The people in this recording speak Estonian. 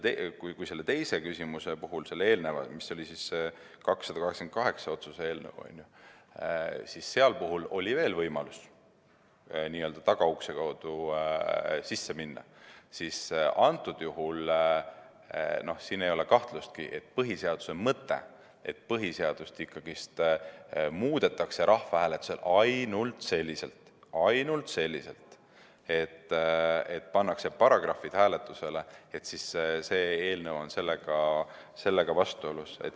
Kui selle teise küsimuse puhul, selle eelneva puhul, mis oli otsuse eelnõu 288, oli veel võimalus n‑ö tagaukse kaudu sisse minna, siis antud juhul ei ole kahtlustki, et põhiseaduse mõttega, et põhiseadust ikkagi muudetakse rahvahääletusel ainult selliselt – ainult selliselt –, et pannakse paragrahvid hääletusele, on see eelnõu vastuolus.